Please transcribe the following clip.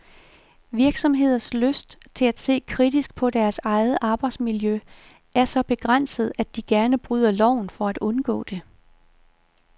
Virksomheders lyst til at se kritisk på deres eget arbejdsmiljø er så begrænset, at de gerne bryder loven for at undgå det.